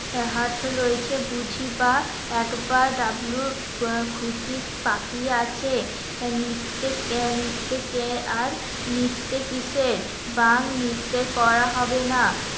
heart fail হয়েছে, বুঝি বা একবার ডাবলুর খুশির তাকিয়ে আছে. নিত্যে কে নিত্য কে আর নিত্য কিসের? বাং নৃত্যে করা হবে না